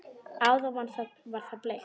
Áðan var það bleikt.